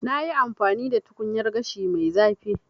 Na yi amfani da tukunyar gashi mai zurfi.